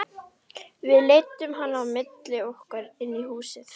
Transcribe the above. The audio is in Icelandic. Við leiddum hana á milli okkar inn í húsið.